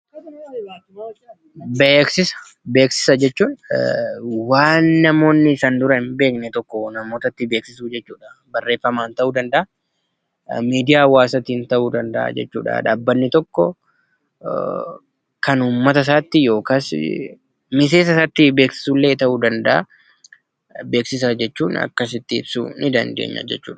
Beeksisa jechuun waan namoonni san dura hin beekne tokko namootatti beeksisuu jechuudha. Kunis barreeffamaan yookiin miidiyaa hawaasaan ta'uu ni danda'a. Dhaabbanni tokko kan uummata isaatti yookiin miseensa isaatti illee beeksisu ta'uu danda'a. Beeksisa jechuun akkasitti ibsuu ni dandeenya jechuudha.